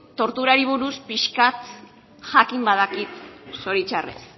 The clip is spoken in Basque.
torturari buruz pixka bat jakin badakit zoritxarrez